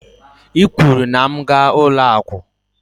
I kwuru na m gaa ụlọ akụ.